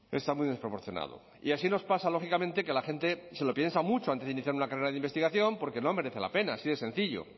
está muy desproporcionado y así nos pasa lógicamente que la gente se lo piensa mucho antes de iniciar una carrera de investigación porque no merece la pena así de sencillo